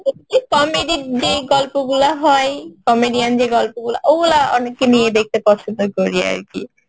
comedy যে গল্পগুলো হয়, comedian যে গল্পগুলো ওগুলো অনেককে নিয়ে দেখতে পছন্দ করি আরকি